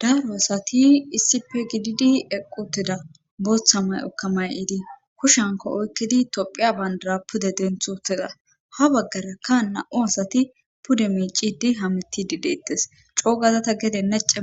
daaro asati issipe gididi eqquteda booththa may7okka may7iidi kushanko oykkidi tophiya bandara pude denthuteza ha baggarakka na7u asati pude miicidi hamitidi deettes coogada gedenna nace